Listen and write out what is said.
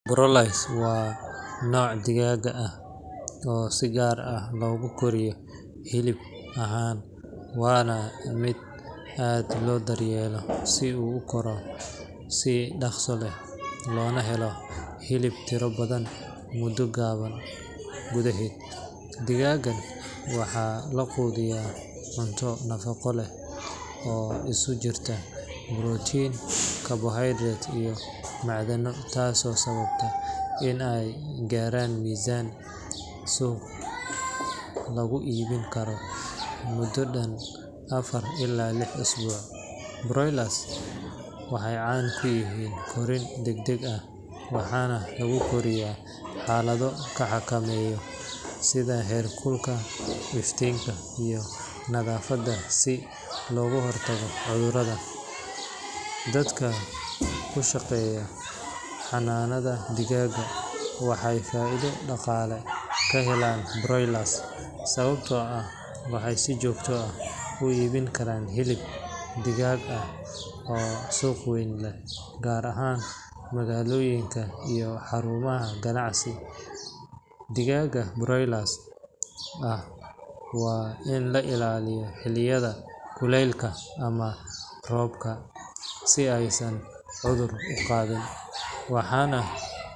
Broilers waa nooc digaagga ah oo si gaar ah loogu koriyo hilib ahaan, waana mid aad loo daryeelo si uu u koro si dhaqso leh loona helo hilib tiro badan muddo gaaban gudaheed. Digaaggan waxaa la quudiyaa cunto nafaqo leh oo isugu jirta borotiin, carbohydrates, iyo macdano, taasoo sababta in ay gaaraan miisaan suuq lagu iibin karo muddo dhan afar ilaa lix isbuuc. Broilers waxay caan ku yihiin korriin degdeg ah, waxaana lagu koriyaa xaalado la xakameeyo sida heerkulka, iftiinka, iyo nadaafadda si looga hortago cudurro. Dadka ku shaqeeya xanaanada digaagga waxay faa’iido dhaqaale ka helaan broilers sababtoo ah waxay si joogto ah u iibin karaan hilib digaag ah oo suuq weyn leh, gaar ahaan magaalooyinka iyo xarumaha ganacsi. Digaagga broilers ah waa in la ilaaliyo xilliyada kuleylka ama roobka si aysan cudur u qaadin, waxaana.